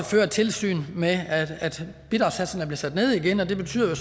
føre tilsyn med at bidragssatserne bliver sat ned igen og det betyder